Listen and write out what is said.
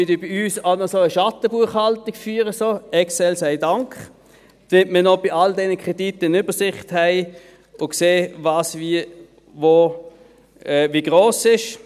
Wir führen bei uns auch noch so eine Schattenbuchhaltung – Excel sei Dank –, damit wir bei all diesen Krediten noch eine Übersicht haben und sehen, was wie wo wie gross ist.